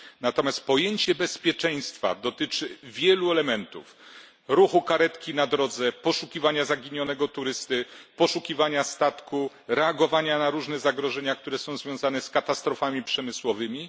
Natomiast pojęcie bezpieczeństwa dotyczy wielu elementów ruchu karetki na drodze, poszukiwania zaginionego turysty, poszukiwania statku, reagowania na różne zagrożenia, które są związane z katastrofami przemysłowymi.